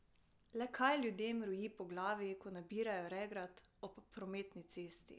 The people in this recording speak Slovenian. Le kaj ljudem roji po glavi, ko nabirajo regrat ob prometni cesti?